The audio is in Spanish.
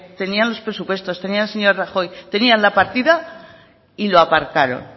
tenían los presupuestos tenían al señor rajoy tenían la partida y lo aparcaron